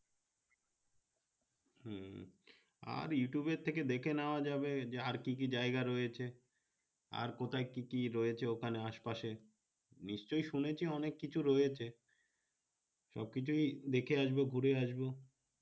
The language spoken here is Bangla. আর youtube র থেকে দেখে নেওয়া যাবে আর কি কি জায়গা রয়েছে আর কোথায় কি কি রয়েছে ওখানে আশ পাশে নিশ্চই শুনেছি অনেক কিছু রয়েছে সব কিছুই দেখে আসবো ঘুরে আসবো